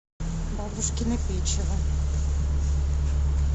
бабушкино печево